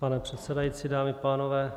Pane předsedající, dámy a pánové.